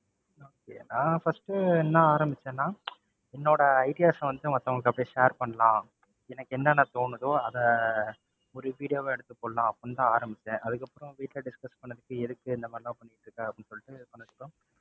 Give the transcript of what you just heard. okay நான் first என்ன ஆரம்பிச்சேன்னா என்னோட ideas வந்து மத்தவங்களுக்கு அப்படியே share பண்ணலாம். எனக்கு என்னென்ன தோணுதோ அதை ஒரு video வா எடுத்து போடலாம்னு அப்படின்னு தான் ஆரம்பிச்சேன். அதுக்கப்புறம் வீட்டுல discuss பண்ணதுக்கு எதுக்கு இந்த மாதிரிலாம் பண்ணிட்டு இருக்க அப்படின்னு சொல்லிட்டு ,